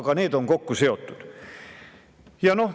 –, aga need on ka kokku seotud.